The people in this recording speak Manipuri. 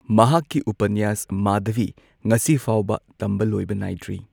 ꯃꯍꯥꯛꯀꯤ ꯎꯄꯅ꯭ꯌꯥꯁ ꯃꯥꯙꯕꯤ ꯉꯁꯤꯐꯥꯎꯕ ꯇꯝꯕ ꯂꯣꯏꯕ ꯅꯥꯏꯗ꯭ꯔꯤ꯫